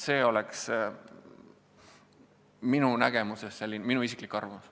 See oleks minu nägemus, minu isiklik arvamus.